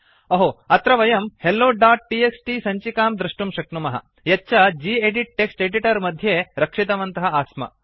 अहो अत्र वयं helloटीएक्सटी सञ्चिकां दृष्टुं शक्नुमः यत् च गेदित् टेक्स्ट् एडिटर मध्ये रक्षितवन्तः आस्म